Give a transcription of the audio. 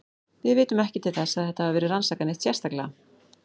Við vitum ekki til þess að þetta hafi verið rannsakað neitt sérstaklega.